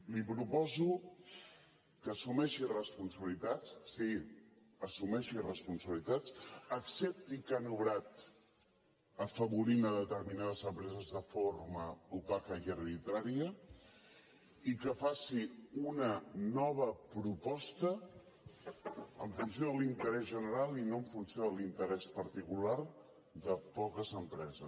li proposo que assumeixi responsabilitats sí assumeixi responsabilitats accepti que han obrat afavorint determinades empreses de forma opaca i arbitrària i que faci una nova proposta en funció de l’interès general i no en funció de l’interès particular de poques empreses